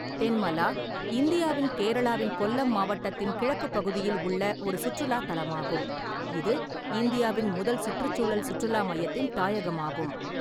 தென்மலா இந்தியாவின் கேரளாவின் கொல்லம் மாவட்டத்தின் கிழக்குப் பகுதியில் உள்ள ஒரு சுற்றுலாத் தலமாகும், இது இந்தியாவின் முதல் சுற்றுச்சூழல் சுற்றுலா மையத்தின் தாயகமாகும்.